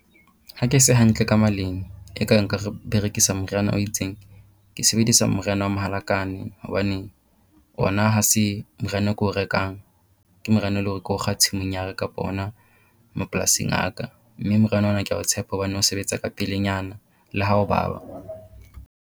Ha ke se hantle ka maleng e kare nka re berekisa moriana o itseng, ke sebedisa moriana wa mohalakane hobane ona ha se moriana o ke o rekang. Ke moriana eleng hore ke o kga tshimong ya ka kapo hona mapolasing a ka. Mme moriana ona kea o tshepa hobane o sebetsa kapelenyana le ha o baba.